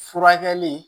Furakɛli